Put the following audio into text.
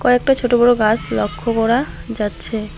কয়েকটা ছোট বড় গাস লক্ষ করা যাচ্ছে।